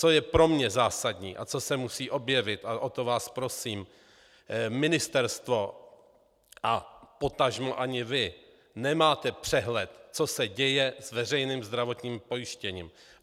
Co je pro mě zásadní a co se musí objevit a o to vás prosím: Ministerstvo a potažmo ani vy nemáte přehled, co se děje s veřejným zdravotním pojištěním.